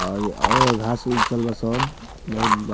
ओर ऐ ओ घास उग चल्लो सब बहुत ब --